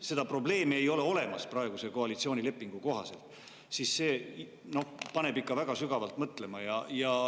–, seda probleemi ei ole olemas praeguse koalitsioonilepingu kohaselt, siis paneb see olukord ikka väga sügavalt mõtlema.